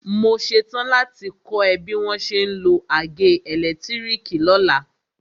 Mo ṣetán láti kọ́ ẹ bí wọ́n ṣe ń lo àgé ẹ̀lẹ́tírìkì lọ́la.